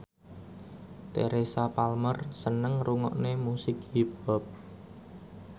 Teresa Palmer seneng ngrungokne musik hip hop